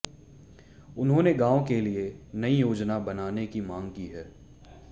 उन्होंने गांव के लिए नई योजना बनाने की मांग की है